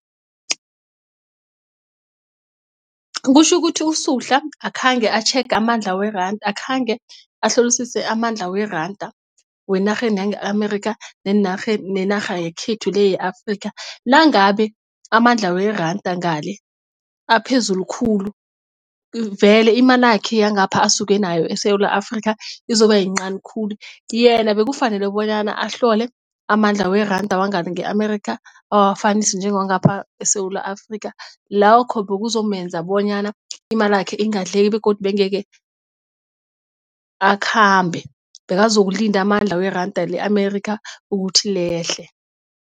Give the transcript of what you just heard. Kutjhukuthi uSuhla akhange atjhege amandla weranda akhange ahlolisise amandla weranda wenarheni yange-Amerika nenarha yakhethu le ye-Afrika. Nangabe amandla weranda ngale aphezulu khulu vele imalakhe yangapha asuke nayo eSewula Afrika izoba yincani khulu. Yena bekufanele bonyana ahlole amandla weranda wangale nge-Amerika awafanise njengewangapha eSewula Afrika lakho bekuzomenza bonyana imalakhe ingadleki begodu begeke akhambe bekazokulinda amandla weranda le-Amerikha ukuthi lehle.